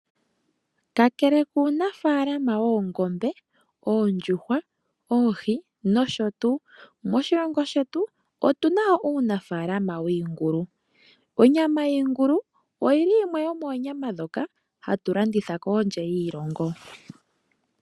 Kakele kuunafalama woongombe, oondjuhwa, oohi nosho tuu moshilongo shetu otu na wo uunafalama wiingulu, onyama yiingulu oyili yimwe yomoonyama ndhoka hatu landitha kondje yiilongo.